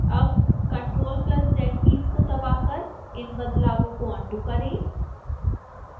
अब ctrl + z keys को दबाकर इन बदलावों को अन्डू करें